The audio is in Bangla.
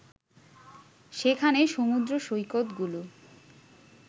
সেখানে সমুদ্রসৈকতগুলো